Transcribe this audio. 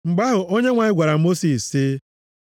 Mgbe ahụ, Onyenwe anyị gwara Mosis sị,